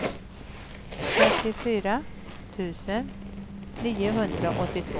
trettiofyra tusen niohundraåttiotvå